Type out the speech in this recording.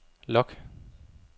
log